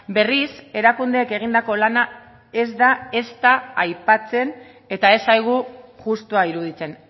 berriz erakundeek egindako lana ez da ezta aipatzen eta ez zaigu justua iruditzen